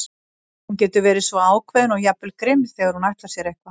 Hún getur verið svo ákveðin og jafnvel grimm þegar hún ætlar sér eitthvað.